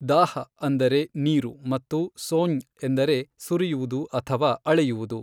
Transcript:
ದಾಃ ಅಂದರೆ ನೀರು ಮತ್ತು ಸೋಙ್ ಎಂದರೆ ಸುರಿಯುವುದು ಅಥವಾ ಅಳೆಯುವುದು.